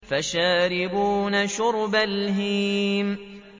فَشَارِبُونَ شُرْبَ الْهِيمِ